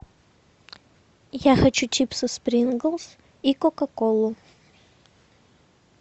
я хочу чипсы спринглс и кока колу